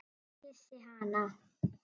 Ég kyssi hana.